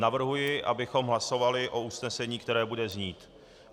Navrhuji, abychom hlasovali o usnesení, které bude znít: